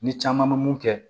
Ni caman bɛ mun kɛ